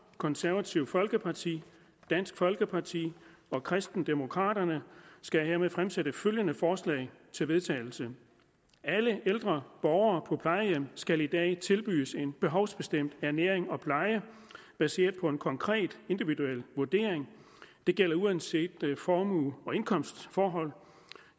konservative folkeparti dansk folkeparti og kristendemokraterne skal jeg hermed fremsætte følgende forslag til vedtagelse alle ældre borgere på plejehjem skal i dag tilbydes en behovsbestemt ernæring og pleje baseret på en konkret individuel vurdering det gælder uanset formue og indkomstforhold